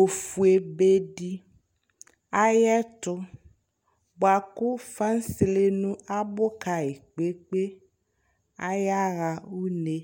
ofue bedi ayʋ ɛtʋ bʋakʋ fasele abʋ kayi kpe kpe ayaɣa une